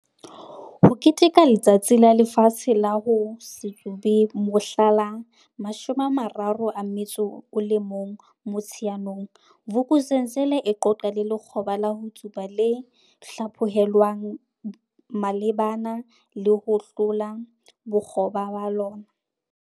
HO KETEKELA Letsatsi la Lefatshe la ho se Tsube mohla la 31 Motsheanong, Vuk'uzenzele e qoqa le lekgoba la ho tsuba le hlaphohelwang malebana le ho hlola bokgoba ba lona.